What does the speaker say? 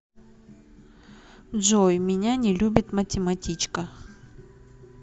джой меня не любит математичка